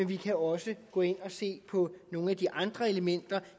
vi også kan gå ind og se på nogle af de andre elementer